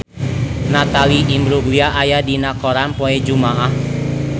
Natalie Imbruglia aya dina koran poe Jumaah